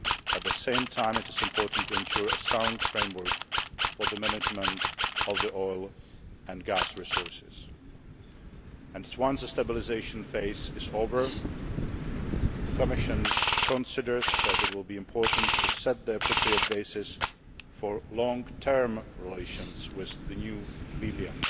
At the same time, it is important to ensure a sound framework for the management of oil and gas resources. Once the stabilisation phase is over, the Commission considers that it will be important to set the appropriate basis for long term relations with the new Libya.